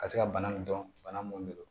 Ka se ka bana nin dɔn bana mun de don